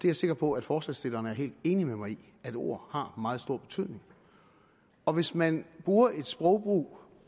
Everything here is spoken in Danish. er sikker på at forslagsstillerne er helt enige med mig i at ord har meget stor betydning og hvis man bruger et sprog